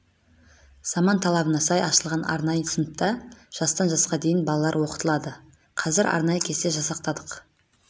заман талабына сай ашылған арнайы сыныпта жастан жасқа дейін балалар оқытылады қазір арнайы кесте жасақтадық